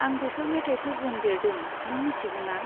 आं बेफोर मेथाइफोरजों देरदों, नों मिथिगौना।